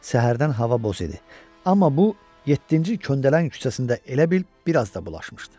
Səhərdən hava boz idi, amma bu, yeddinci köndələn küçəsində elə bil bir az da bulaşmışdı.